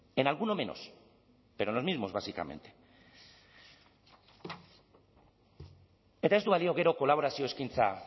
en alguno menos pero los mismos básicamente eta ez du balio gero kolaborazio eskaintza